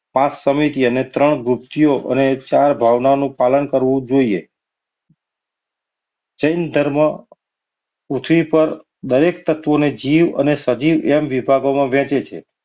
પાંચ સમિતિ અને ત્રણ ગૂંથિઓ અને ચાર ભાવનાઓનું પાલન કરવું જોઈએ. જૈન ધર્મ પૃથ્વી પર દરેક તત્વને જીવ અને સજીવ બે વિભાગોમાં વહેંચે છે.